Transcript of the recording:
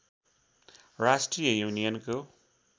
राष्ट्रिय युनियनको